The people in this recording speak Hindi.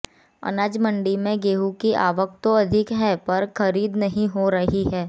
अनाज मंडी में गेहूं की आवक तो अधिक है पर खरीद नहीं हो रही है